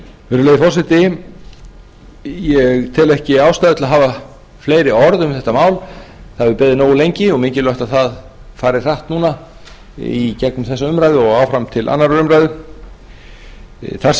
virðulegur forseti ég tel ekki ástæðu til þess að hafa fleiri orð um þetta mál það hefur beðið nógu lengi og mikilvægt að það fari hratt í gegnum þessa umræðu og áfram til annarrar umræðu þar sem málið er